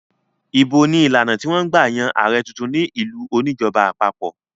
Ìbò ni ìlànà tí wọ́n ń gbà yan ààrẹ̀ tuntun ní ìlú oníjọba àpapọ̀.